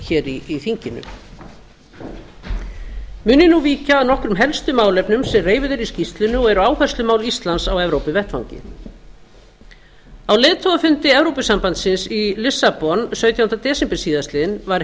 hér í þinginu mun ég nú víkja að nokkrum helstu málefnum sem reifuð eru í skýrslunni og eru áherslumál íslands á evrópuvettvangi á leiðtogafundi evrópusambandsins í lissabon sautjánda desember síðastliðinn var